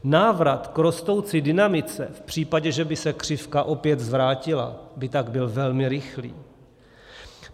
Návrat k rostoucí dynamice v případě, že by se křivka opět zvrátila, by tak byl velmi rychlý.